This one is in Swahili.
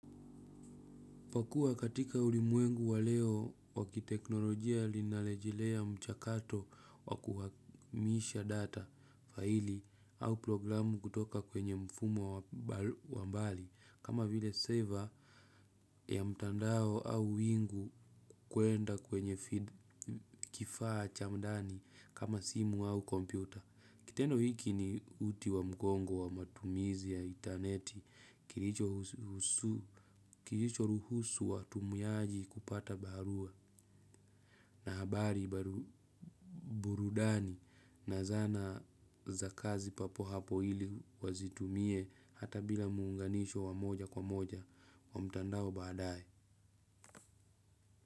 Kwakua katika ulimwengu wa leo wa kiteknolojia ninalejilea mchakato wakuhamisha data faili au programu kutoka kwenye mfumo wambali kama vile saver ya mtandao au wingu kwenda kwenye kifaa cha ndani kama simu au kompyuta. Kitendo hiki ni uti wa mgongo wa matumizi ya intaneti, kilicho ruhusu watumiaji kupata barua na habari burudani na zana za kazi papo hapo ili wazitumie hata bila muunganisho wa moja kwa moja wa mtandao baadae.